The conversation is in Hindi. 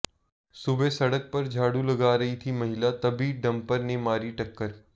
सुबह सड़क पर झाड़ू लगा रही थी महिला तभी डंपर ने मारी टक्कर